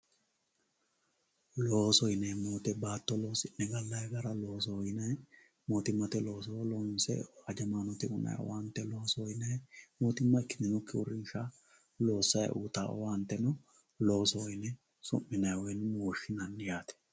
Loosoho yineemo woyite baato losi`ne galayi gara loosoho yineemo mootimate looso loonse hajamanote uyinayi owaante loosoho yinayi motuma ikituki loosayi uyitawo owaanteno loosoho yine su`minayi woyi woshinau uaate